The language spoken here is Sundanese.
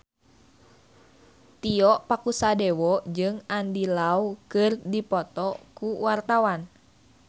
Tio Pakusadewo jeung Andy Lau keur dipoto ku wartawan